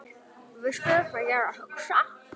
Veistu hvað ég er að hugsa?